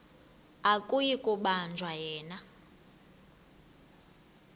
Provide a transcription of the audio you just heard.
akuyi kubanjwa yena